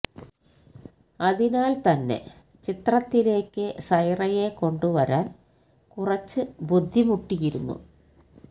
അതിനാൽ തന്നെ ചിത്രത്തിലേയ്ക്ക് സൈറയെ കൊണ്ടു വരാൻ കുറച്ച് ബുദ്ധിമുട്ടിയിരുന്നു